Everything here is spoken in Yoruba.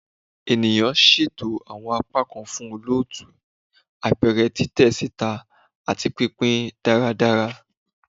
Ènìyàn, ṣeto awọn apakan fun olootu, apẹrẹ, titẹ sita, ati pinpin daradara